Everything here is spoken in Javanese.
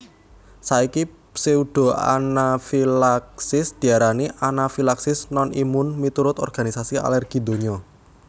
Saiki pseudoanafilaksis diarani anafilaksis non imun miturut Organisasi Alergi Donya